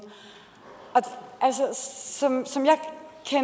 som